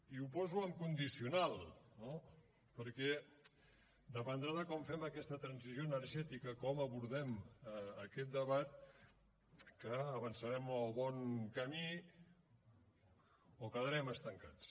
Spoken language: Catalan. i ho poso en condicional no perquè dependrà de com fem aquesta transició energètica com abordem aquest debat que avançarem en el bon camí o quedarem estancats